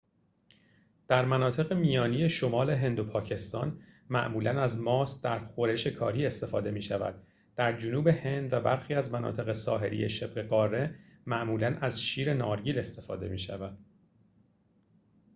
در مناطق میانی شمال هند و پاکستان معمولاً از ماست در خورش کاری استفاده می‌شود در جنوب هند و برخی از مناطق ساحلی شبه‌قاره معمولاً از شیر نارگیل استفاده می‌شود